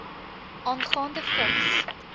aangaande vigs